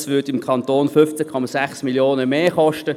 Dies würde den Kanton 15,6 Mio. Franken mehr kosten.